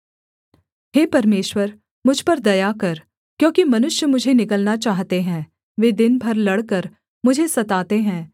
हे परमेश्वर मुझ पर दया कर क्योंकि मनुष्य मुझे निगलना चाहते हैं वे दिन भर लड़कर मुझे सताते हैं